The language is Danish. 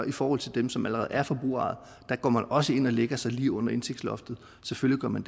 i forhold til dem som allerede er forbrugerejet der går man også ind og lægger sig lige under indtægtsloftet selvfølgelig gør man